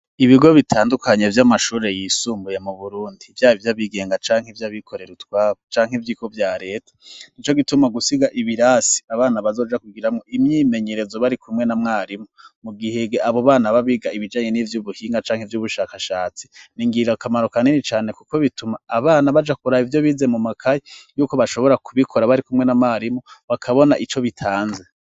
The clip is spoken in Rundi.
Ibigo bitandukanye vy' amashure yisumbuye mu burundi vya ivyo abigenga canke ivyo abikorera utwabu canke ivyiko vya leta ni co gituma gusiga ibirasi abana bazoja kugira nwo imyimenyerezo bari kumwe na mwarimu mu gihee abo bana babiga ibijanye n'ivyo ubuhinga canke ivyo ubushakashatsi ni ingira akamaro ka nini cane, kuko bituma abana baja kuraha ivyo bize mu makayi yuko bashobora kubikora bari kumwe n'amarimu bakabona ico bitanze.